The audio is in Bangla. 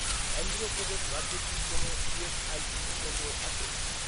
অন্ধ্রপ্রদেশ রাজ্যে কি কোনও ইএসআইসি কেন্দ্র আছে?